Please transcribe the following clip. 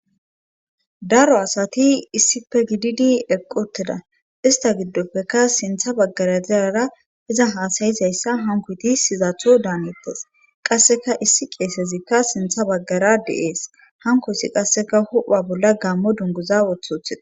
daro asati issife gididi eqqoteda ista giddoppekka sintha baggara zirara iza haasayizayssa hankuti sizaatho daanettes qasseka issi qeesezikka sintha baggara deees hanko ssi qasseka hu7a bolla gammo dunguza wothothida